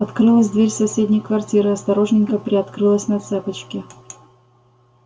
открылась дверь соседней квартиры осторожненько приоткрылась на цепочке